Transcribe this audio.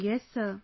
Yes sir